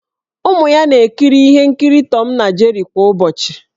Ụmụ ya na-ekiri ihe nkiri Tọm na Jeri kwa ụbọchị.